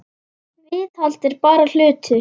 Viðhald er bara hlutur.